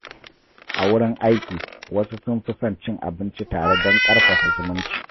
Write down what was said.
A wurin aiki, wasu sun fi son cin abinci tare don ƙarfafa zumunci.